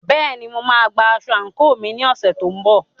Bẹ́ẹ̀ni, mo máa gba aṣọ àǹkóò mi ní ọ̀sẹ̀ tó ń bọ̀.